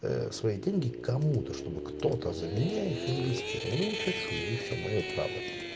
ээ свои деньги кому-то чтобы кто-то за меня их инвестировал ну не хочу и все моё право